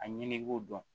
A ɲini i b'o dɔn